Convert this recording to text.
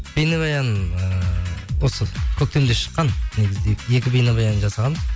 бейнебаян ыыы осы көктемде шыққан негізі екі бейнебаян жасағанбыз